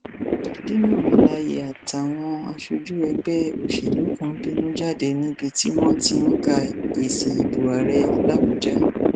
dino melaye àtàwọn aṣojú ẹgbẹ òṣèlú kan bínú jáde níbi tí wọn ti ń ka èsì ìbò ààrẹ làbújá